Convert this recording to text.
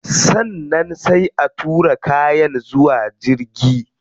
Sannan sai a tura kayan zuwa jirgi